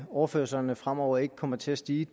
overførslerne fremover ikke kommer til at stige